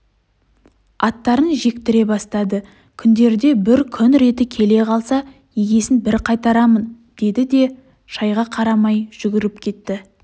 аттарын жектіре бастады күндерде бір күн реті келе қалса есесін бір қайтарамын деді де шайға қарамай жүріп кетті